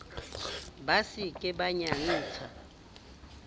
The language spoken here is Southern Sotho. ba se ke ba nyantsha